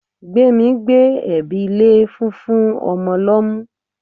Gbemi gbé ẹ̀bi lé fúnfún ọmọ lọ́mú.